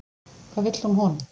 Hvað vill hún honum?